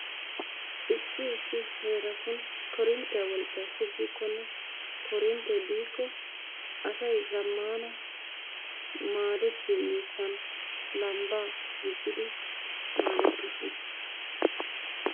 Issi heeratun korinttiya wolqqay shugikonne korinttee biikko asay zamaana maadettiyo miishshan lambbaa duuqqidi maadettoosona.